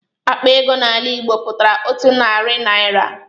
Akpa ego n'ala Igbo pụtara otu narị naira.